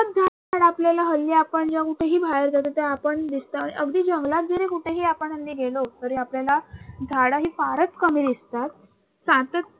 आपल्याला हल्ली आपण जेव्हा कुठही बाहेर जातो तेव्हा आपण अगदी जंगलात जरी कुठेही आपण हल्ली गेलो तरी आपल्याला झाडं ही फारच कमी दिसतात.